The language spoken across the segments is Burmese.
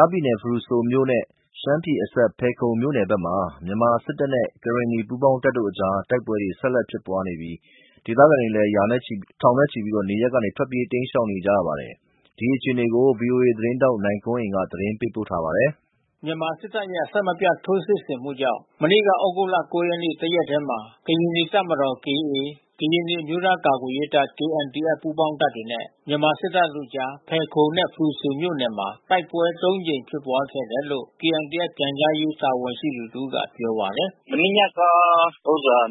ားပြည်နယ်ဖရူဆိုမြို့နယ်နဲ့ ရှမ်းပြည်နယ်အစပ် ဖယ်ခုံမြို့နယ်ဘက်မှာ မြန်မာစစ်တပ်နဲ့ ကရင်နီ ပူးပေါင်းတပ်တို့အကြား တိုက်ပွဲ ဆက်ဖြစ်ပွားနေပြီး တိုက်ပွဲဖြစ်ရာဒေသခံထောင်နဲ့ချီလည်း နေရပ်ကနေတိမ်းရှောင်နေရပါတယ်။ ဒီအခြေအနေကို ဗွီအိုအေသတင်းထောက်နိုင်ကွန်းအိန်ကနေသတင်းပေးပို့ထားပါတယ်။ မြန်မာစစ်တပ်ရဲ့ အဆက်မပြတ် ထိုးစစ်ဆင်မှုကြောင့် မနေ့ကဩဂုတ် ၉ ရက်နေ့ တရက်တည်းမှာ ကရင်နီတပ်မတော် ၊ ကရင်နီအမျိုးသားကာကွယ်ရေးတပ် ပူးပေါင်းတပ်နဲ့ မြန်မာစစ်တပ်တို့အကြား တိုက်ပွဲ ၃ ကြိမ်ဖြစ်ပွားခဲ့တယ်လို့ KNDF ပြန်ကြားရေးတာဝန်ရှိသူတဦးကပြောပါတယ်။ “မနေ့ညက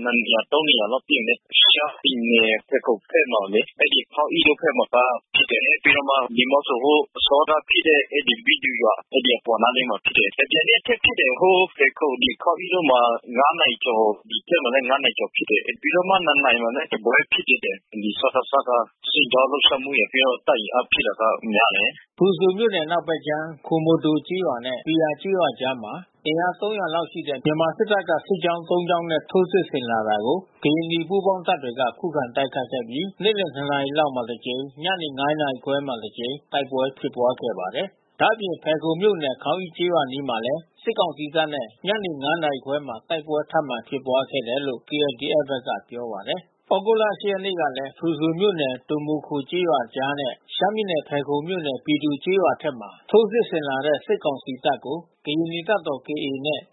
နှစ်နေရာ သုံးနေရာလောက်ပစ်တယ်လေ။ ရှမ်းပြည်နယ်ဖယ်ခုံဘက်မှာလေ အဲဒီခေါင်းအိတို့ဘက်မှာကဖြစ်တယ်။ ပြီးတော့မှ ဒီုမိုခို ဟိုအစောက ဖြစ်တဲ့ဘီသူရွာ အဲဒီအပေါ်နားလေးမှာဖြစ်တယ်။ တမြိုင်နက်ထဲဖြစ်တယ်။ ဟိုဖယ်ခုံခေါင်းအိဘက်မှာ နာရီကျော် ဒီဘက်မှာလဲ နာရီကျော်ဖြစ်တယ်လေ။ ပြီးတော့မှ နာရီမှာလဲတပွဲဖြစ်သေးတယ်။ စကစက စစ်ကြောင်း လှုပ် ရှားမှုရယ် တပ်အင်အားဖြည့်တာကများတယ်။ ” ဖရူဆိုမြို့နယ် အနောက်ဘက်ခြမ်း ဒိုမိုခိုကျေးရွာနဲ့ ဘီယာကျေးရွာအကြားမှာ အင်အား ၃၀၀ လောက်ရှိတဲ့ မြန်မာစစ်တပ်ကစစ်ကြောင်း ၃ ကြောင်းနဲ့ ထိုးစစ်ဆင်လာတာကို ကရင်နီ ပူးပေါင်းတပ်တွေက ခုခံတိုက်ခိုက်ခဲ့ပြီး နေ့လယ် ၂ နာရီလောက်မှာ တစ်ကြိမ်၊ ညနေ ၅ နာရီခွဲမှာ တစ်ကြိမ် တိုက်ပွဲဖြစ်ပွားခဲ့ပါတယ်။ ဒါ့အပြင် ဖယ်ခုံမြို့နယ် ခေါင်းအိကျေးရွာအနီးမှာလဲ စစ်ကောင်စီတပ်နဲ့ ညနေ ၅ နာရီခွဲမှာ တိုက်ပွဲ ထပ်မံဖြစ်ပွားခဲ့တယ်လို့ KNDF က ပြောပါတယ်။ ဩဂုတ်လ ၈ ရက်နေ့ကလည်း ဖရူဆိုမြို့နယ်၊ ဒိုမိုခိုကျေးရွာအကြားနဲ့ ရှမ်းပြည်နယ်ဖယ်ခုံမြို့နယ် ဘီသူကျေးရွာအထက်မှာ ထိုး စစ်ဆင်လာတဲ့ စစ်ကောင်စီတပ်ကို ကရင်နီတပ်မတော် နဲ့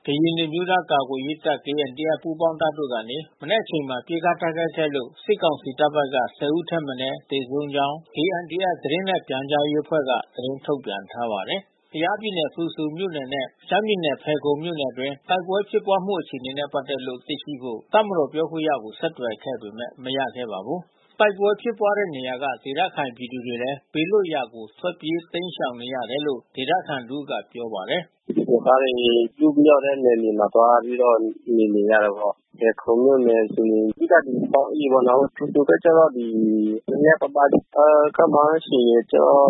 ကရင်နီအမျိုးသားကာကွယ်ရေးတပ် ပူးပေါင်းတပ် ကနေ နံနက်အချိန်မှာ ပစ်ခတ်တိုက်ခိုက်ခဲ့လို့ စစ်ကောင်စီတပ် ၁၀ ဦးထက်မနည်း သေဆုံးကြောင်း KNDF သတင်းနှင့်ပြန်ကြားရေး အဖွဲ့က သတင်းထုတ်ပြန်ထားပါတယ်။ ကယားပြည်နယ်ဖရူဆိုမြို့နယ်နဲ့ ရှမ်းပြည်နယ်ဖယ်ခုံမြို့နယ်အတွင်းတိုက်ပွဲဖြစ်ပွါးမှုအခြေအနေနဲ့ပက်သက်လို့ သိရှိဖို့ တပ်မတော်ပြောခွင့်ရကိုဆက်သွယ်ခဲ့ပေမဲ့ မရခဲ့ပါဘူး။ တိုက်ပွဲဖြစ်ပွားတဲ့နေရာကဒေသခံပြည်သူတွေလည်း ဘေးလွှတ်ရာကို ထွက်ပြေးတိမ်းရှောင်နေကြရတယ်လို့ ဒေသခံတဦးက ပြောပါတယ်။ “ ရွာသားတွေ ပစ်မရတဲ့နယ်မြေမှာ သွားပြီးတော့ နေနေရတာပေါ့။ ဖယ်ခုံမြို့နယ်ဆိုရင် အဓိကဒီခေါင်းအိပေါ့နော်။ ဖရူဆိုဘက်က တော့ နဲနဲပါးပါး။ ခန့်မှန်းခြေကတော့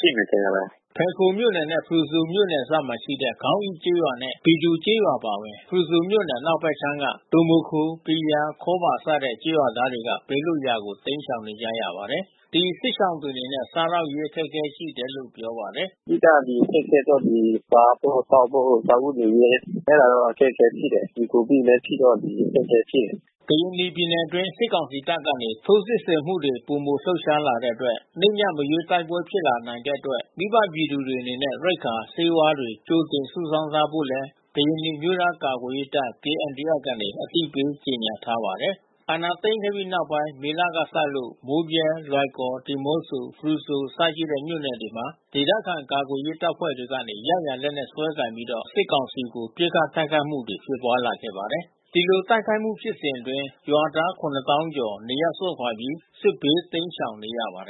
ရှိမယ်ထင်ပါတယ်။” ဖယ်ခုံမြို့နယ်နဲ့ ဖရူဆိုမြို့နယ် နယ်စပ်မှာရှိတဲ့ ခေါင်းအိကျေးရွာနဲ့ဘီသူကျေးရွာအပါအဝင် ဖရူဆိုမြို့နယ်အနောက်ဖက်ခြမ်းမှ ဒိုမိုခို၊ ဘီယာ၊ ခေါဘာ စတဲ့ ကျေးရွာသားတွေက ဘေးလွတ်ရာကို တိမ်းရှောင်နေကြရပါတယ်။ ဒီစစ်ရှောင်တွေအနေနဲ့ စားသောက်ရေးအခက်ခဲရှိနေတယ်လို့ပြောပါတယ်။ “ အဓိက ဒီအခက်ခဲက စားဖို့သောက်ဖို့ စားဝတ်နေရေးက အဲတာတော့အခက်ခဲဖြစ်တယ်။ ဒီကိုဗစ်လဲဖြစ်တော့ အခက်ခဲဖြစ် တယ်။” ကရင်နီပြည်နယ်အတွင်း စစ်ကောင်စီတပ်ကနေ ထိုးစစ်ဆင်မှုတွေ ပိုမိုလှုပ်ရှားလာတဲ့အတွက် နေ့၊ည မရွေး တိုက်ပွဲဖြစ်ပွား လာ နိုင်တဲ့အတွက် မိဘပြည်သူတွေအနေနဲ့ ရိက္ခာ၊ ဆေးဝါးတွေ ကြိုတင်စုဆောင်းထားဖို့လည်း ကရင်နီအမျိုးသားကာကွယ်ရေးတပ် KNDF က အသိပေးကြေညာထားပါတယ်။ မြန်မာစစ်တပ်က အာဏာသိမ်းခဲ့ပြီးနောက်ပိုင်း မေလကစလို့ မိုးဗြဲ၊ လွိုင်ကော်၊ ဒီမော့ဆို ဖရူဆိုအစရှိတဲ့မြို့ နယ်တွေမှာ ဒေသ ခံကာကွယ်ရေးတပ်ဖွဲ့ တွေကနေ ရရာလက်နက်စွဲကိုင်ပြီးတော့ စစ်ကောင်စီတပ်ကို ပစ်ခတ်တိုက်ခိုက်မှု တွေဖြစ်ပွါးလာခဲ့ ပါတယ်။ ဒီလိုတိုက်ခိုက်မှုဖြစ်စဉ်အတွင်း ရွာသား သောင်းကျော် နေရပ်စွန့်ခွါပြီး စစ်ဘေးတိမ်းရှောင်နေရပါတယ်